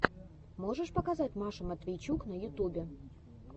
можешь показать машу матвейчук на ютубе